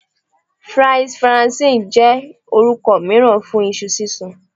Fries Faranse jẹ orukọ miiran fun iṣu sisun